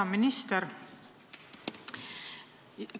Hea minister!